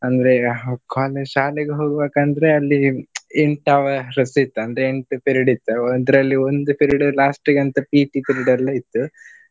ಅಂದ್ರೆ college ಶಾಲೆಗೆ ಹೋಗ್ಬೇಕಂದ್ರೆ ಅಲ್ಲಿ ಎಂಟ್ hours ಇತ್ತು ಅಂದ್ರೆ ಎಂಟ್ period ಇತ್ತು. ಅದರಲ್ಲಿ ಒಂದು period last ಗಂತ PT period ಎಲ್ಲಾ ಇತ್ತು.